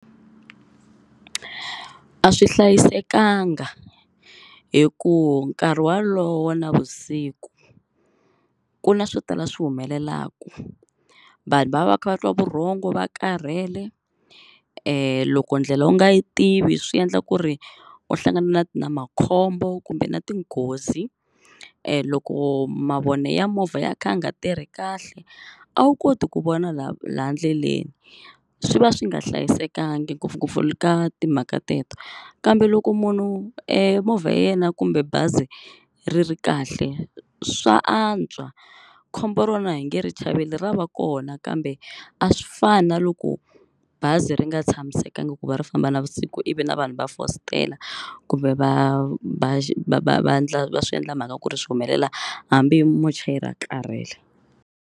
A swi hlayisekanga hi ku nkarhi walowo wa navusiku ku na swo tala swi humelelaku vanhu va va va kha va twa vurhongo va karhele loko ndlela u nga yi tivi swi endla ku ri u hlangana na makhombo kumbe na tinghozi loko mavone ya movha ya kha ya nga tirhi kahle a wu koti ku vona la la ndleleni swi va swi nga hlayisekangi ngopfungopfu le ka timhaka teto kambe loko munhu movha ya yena kumbe bazi ri ri kahle swa antswa khombo rona hi nge ri chaveli ra va kona kambe a swi fani na loko bazi ri nga tshamisekangi ku va ri famba navusiku ivi na vanhu va fositela kumbe va va va va ndla va swi endla mhaka ku ri swi humelela hambi muchayeri a karhele.